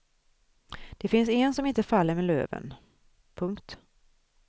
Det finns en som inte faller med löven. punkt